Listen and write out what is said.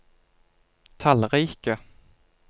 tallrike